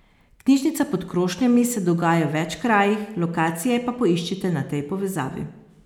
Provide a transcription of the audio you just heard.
Knjižnica pod krošnjami se dogaja v več krajih, lokacije pa poiščite na tej povezavi.